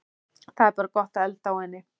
Það er bara gott að elda á henni